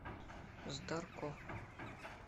здарко